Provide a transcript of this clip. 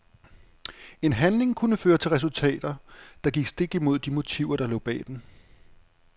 En handling kunne føre til resultater, der gik stik imod de motiver der lå bag den.